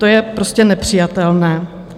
To je prostě nepřijatelné.